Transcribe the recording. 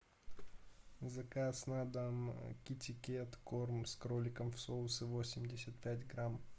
заказ на дом китикет корм с кроликом в соусе восемьдесят пять грамм